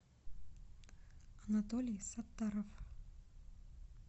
анатолий саттаров